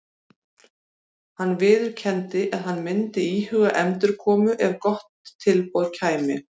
Hann viðurkenndi að hann myndi íhuga endurkomu ef gott tilboð kæmi.